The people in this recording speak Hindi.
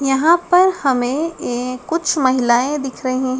यहाँ पर हमे एक कुछ महिलाएँ दिख रही--